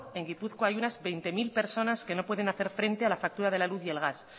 en gipuzkoa hay unas veinte mil personas que no pueden hacer frente a la factura de la luz y el gas